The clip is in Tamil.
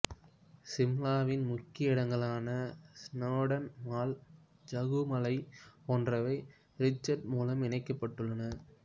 சிம்லாவின் முக்கிய இடங்களான ஸ்நோடன் மால் ஜாகு மலை போன்றவை ரிட்ஜ் மூலம் இணைக்கப்பட்டுள்ளன